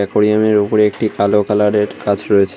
একুরিয়ামের উপরে একটি কালো কালারের কাচ রয়েছে।